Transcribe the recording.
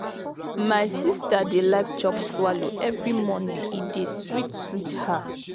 my sista dey like chop swallow every morning e dey sweet sweet her.